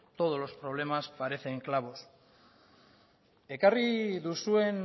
todos los problemas parecen clavos ekarri duzuen